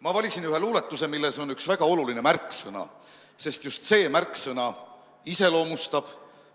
Ma valisin ühe luuletuse, milles on üks väga oluline märksõna, sest just see märksõna iseloomustab,